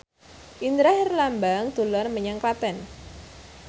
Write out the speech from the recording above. Indra Herlambang dolan menyang Klaten